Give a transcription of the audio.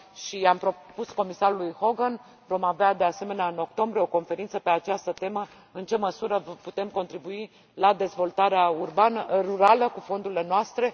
I am propus comisarului Hogen să vedem, vom avea, de asemenea, în octombrie, o conferință pe această temă, în ce măsură putem contribui la dezvoltarea rurală cu fondurile noastre.